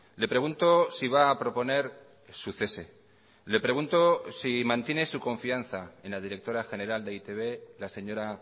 le pregunto si va a proponer su cese le pregunto si mantiene su confianza en la directora general de e i te be la señora